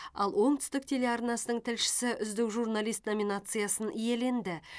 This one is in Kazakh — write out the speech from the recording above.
ал оңтүстік телеарнасының тілшісі үздік жүрналист номинациясын иеленді